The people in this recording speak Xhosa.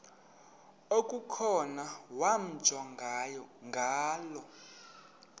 okukhona wamjongay ngaloo